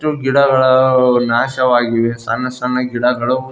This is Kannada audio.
ಗಿಡಗಳ ನಾಶವಾಗಿವೆ ಸಣ್ಣ ಸಣ್ಣ ಗಿಡಗಳು--